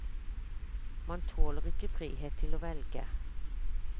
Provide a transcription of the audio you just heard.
Man tåler ikke frihet til å velge.